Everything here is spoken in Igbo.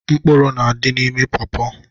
Mkpụrụ na-adị n'ime pọọpọ.